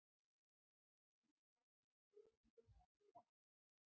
Nýr banki auglýsir eftir bankastjóra